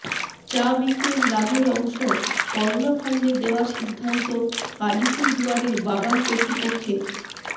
চা বিক্রির লাভের অংশ করোনা ফান্ডে দেওয়ার সিদ্ধান্ত আলিপুরদুয়ারের বাগান কর্তৃপক্ষের